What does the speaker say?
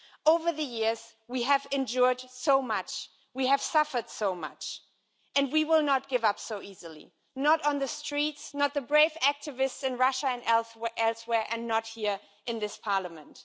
Over the years we have endured so much, we have suffered so much and we will not give up so easily, not on the streets, not the brave activists in Russia and elsewhere and not here in this Parliament.